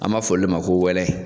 An m'a fɔ olu le ma ko wɛlɛ.